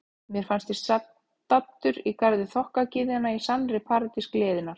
Mér fannst ég vera staddur í garði þokkagyðjanna, í sannri paradís gleðinnar.